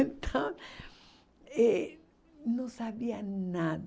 Então, eh não sabia nada.